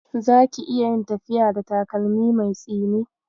Zaki iya yin tafiya a da takalmi mai tsini?